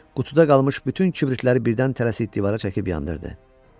qutuda qalmış bütün kibritləri birdən tələsik divara çəkib yandırdı.